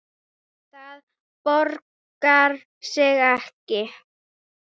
Það borgar sig ekki